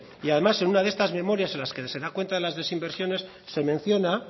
y además en una de estas memorias en las que se da cuenta de las desinversiones se menciona